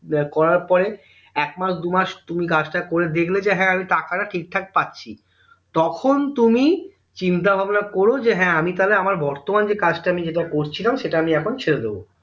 করার পরে একমাস দুইমাস তুমি কাজটা করে দেখলে যে হ্যাঁ আমি টাকাটা ঠিকঠাক পাচ্ছি তখন তুমি চিন্তা ভাবনা করো যে আমি তাহলে আমার বর্তমান যে কাজটা করছিলাম সেটা আমি এখন ছেড়ে দেব